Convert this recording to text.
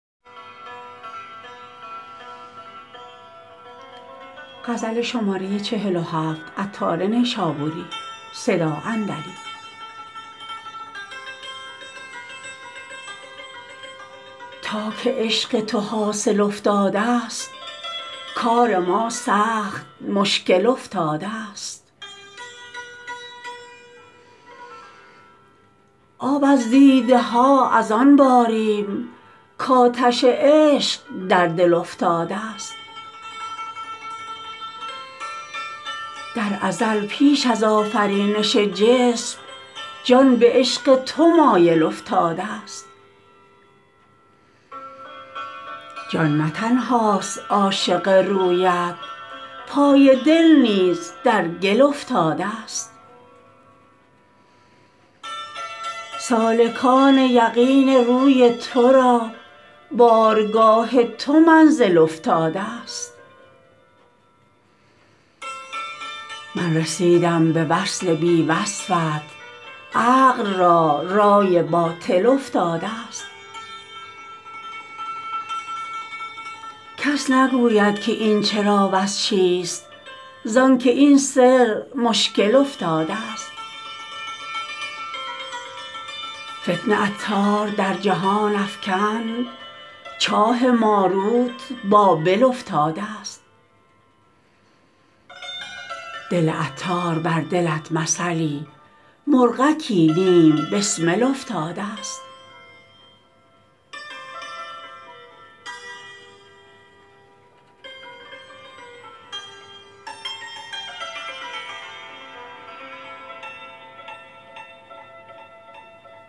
تا که عشق تو حاصل افتادست کار ما سخت مشکل افتادست آب از دیده ها از آن باریم کاتش عشق در دل افتادست در ازل پیش از آفرینش جسم جان به عشق تو مایل افتادست جان نه تنهاست عاشق رویت پای دل نیز در گل افتادست سالکان یقین روی تو را بارگاه تو منزل افتادست من رسیدم به وصل بی وصفت عقل را رای باطل افتادست کس نگوید که این چرا وز چیست زانکه این سر مشکل افتادست فتنه عطار در جهان افکند چاه ماروت بابل افتادست دل عطار بر دلت مثلی مرغکی نیم بسمل افتادست